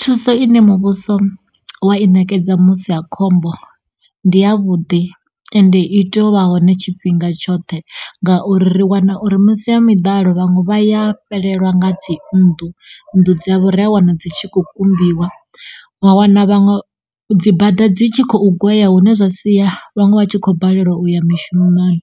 Thuso ine muvhuso wa i ṋekedza musiakhombo ndi ya vhuḓi ende iteyo u vha hone tshifhinga tshoṱhe ngauri ri wana uri misi ya miḓalo vhaṅwe vhaya fhelelwa nga dzi nnḓu, nnḓu dzavho ri ya wana dzi tshi khou kumbiwa wa wana vhaṅwe dzi bada dzi tshi khou gwea hune zwa sia vhaṅwe vha tshi kho balelwa uya mishumoni.